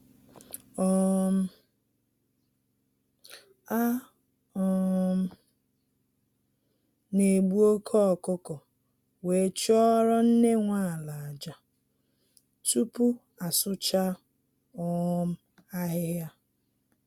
um A um na egbu oke ọkụkọ were chụọrọ nne nwe ala aja, tupu asụcha um ahịhịa